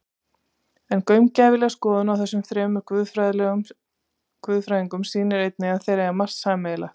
En gaumgæfileg skoðun á þessum þremur guðfræðingum sýnir einnig að þeir eiga margt sameiginlegt.